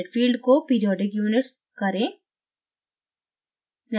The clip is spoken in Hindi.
unit field को periodic units करें